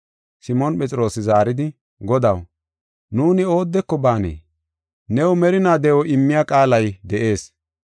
Simoon Phexroosi zaaridi, “Godaw, nuuni oodeko baanee? New merinaa de7o immiya qaalay de7ees.